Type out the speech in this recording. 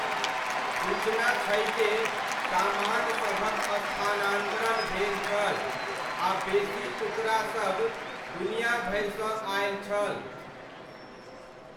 सूचना छै जे सामानसभक स्थानान्तरण भेल छल आ बेसी टुकड़ासब दुनियाभरिसँ आयल छल।